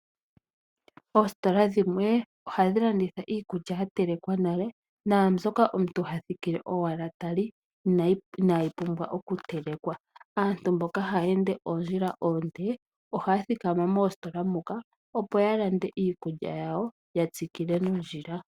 Oositola dhimwe ohadhi landitha iikulya ya telekwa nale, naambyoka omuntu ha thikile owala tali, inaayi pumbwa oku telekwa. Aantu mboka haya ende oondjila oonde, ohaya thikama moositola muka, opo ya lande iikulya yawoya tsikile nondjila.